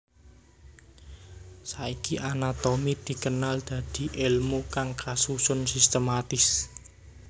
Saiki anatomi dikenal dadi èlmu kang kasusun sistematis